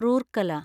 Rourkela